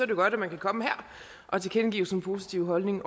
jo godt at man kan komme her og tilkendegive sin positive holdning